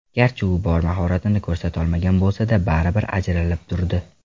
Garchi u bor mahoratini ko‘rsatolmagan bo‘lsada, baribir, ajralib turdi.